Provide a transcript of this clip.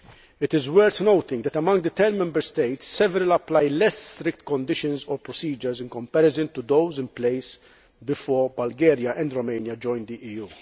It is worth noting that, among the ten Member States, several apply less strict conditions or procedures in comparison to those in place before Bulgaria and Romania joined the EU.